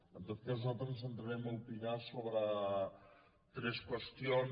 en tot cas nosaltres ens centrarem a opinar sobre tres qüestions